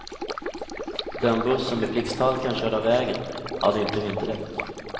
Den buss som i blixthalkan körde av vägen hade inte vinterdäck.